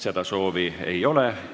Seda soovi ei ole.